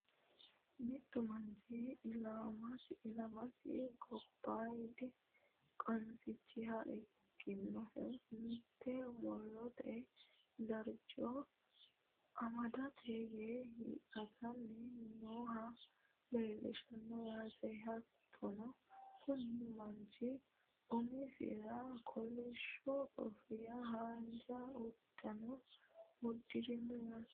mittu manchi ilamasi gobaayidi qansicha ikkinohu, mitte murote darcho amadate yee hiixatanni nooha leelishshanno yaate. hattono kuni manchi umisira kolishsho kofiyanna haanja uddanono uddirino yaate.